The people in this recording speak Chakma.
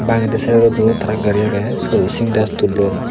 bangedi saidodo tarar gari aagey syot o syntax tullon.